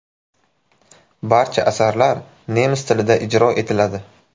Barcha asarlar nemis tilida ijro etiladi.